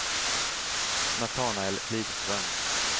Natanael Lidström